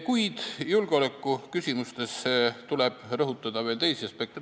Kuid julgeolekuküsimustes tuleb rõhutada veel teisi aspekte.